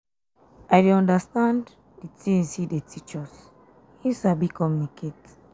um i dey understand um the things he dey teach us he sabi communicate.